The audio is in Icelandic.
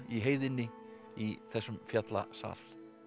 heiðinni í þessum fjallasal